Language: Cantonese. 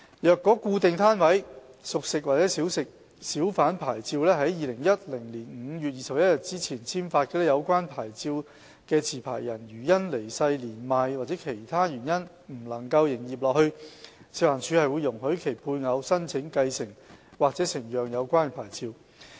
若固定攤位小販牌照是在2010年5月21日前簽發的，有關持牌人如因離世、年邁或其他原因不能營業下去，食環署會容許其配偶申請繼承或承讓有關牌照。